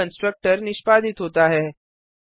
तभी कंस्ट्रक्टर निष्पादित होता है